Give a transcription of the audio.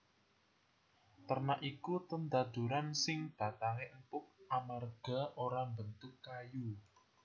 Terna iku tetanduran sing batangé empuk amarga ora mbentuk kayu